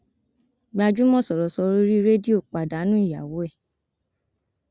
gbajúmọ sọrọsọrọ orí rédíò pàdánù ìyàwó ẹ